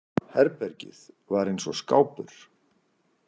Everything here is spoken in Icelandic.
Herbergið var eins og skápur.